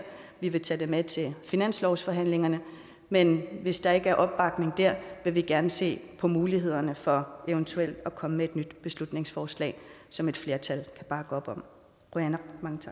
vi vil tage det med til finanslovsforhandlingerne men hvis der ikke er opbakning der vil vi gerne se på mulighederne for eventuelt at komme med et nyt beslutningsforslag som et flertal kan bakke op om qujanaq